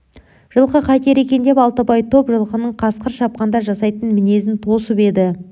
жылқы қайтер екен деп алтыбай топ жылқының қасқыр шапқанда жасайтын мінезін тосып еді